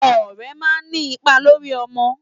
Ọ̀rẹ́ máa ń ní ipa lórí ọmọ.